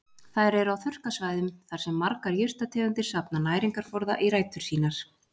Þær eru á þurrkasvæðum þar sem margar jurtategundir safna næringarforða í rætur sínar.